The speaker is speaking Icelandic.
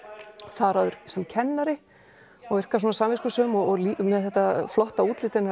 þar áður sem kennari og virkar samviskusöm og með þetta flotta útlit